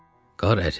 Qar əridi.